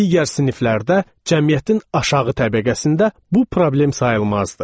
Digər siniflərdə cəmiyyətin aşağı təbəqəsində bu problem sayılmazdı.